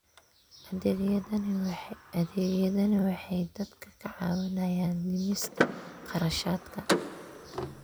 Adeegyadani waxay dadka ka caawiyaan dhimista kharashaadka.